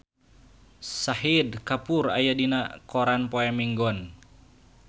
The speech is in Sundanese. Shahid Kapoor aya dina koran poe Minggon